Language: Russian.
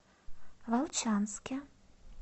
волчанске